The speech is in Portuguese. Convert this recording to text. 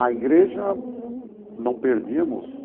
À igreja, não perdíamos